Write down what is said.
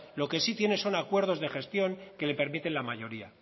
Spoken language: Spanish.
lo que sí tiene son acuerdos de gestión que le permiten la mayoría